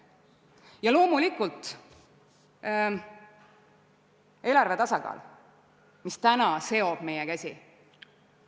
Ja loomulikult: praegu seob meie käsi eelarve tasakaal.